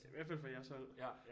I hvert fald fra jeres hold